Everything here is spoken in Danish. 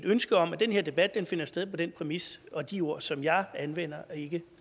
ønske om at den her debat finder sted på den præmis og de ord som jeg anvender og ikke